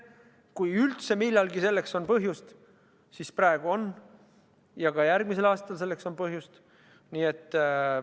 Kui selleks üldse millalgi on põhjust, siis praegu, ja ka järgmisel aastal on selleks põhjust.